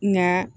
Nka